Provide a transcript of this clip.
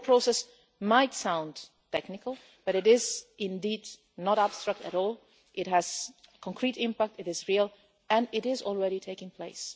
The whole process might sound technical, but it is indeed not abstract at all. It has concrete impact, it is real and it is already taking place.